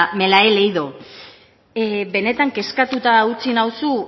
me la he leído benetan kezkatuta utzi nauzu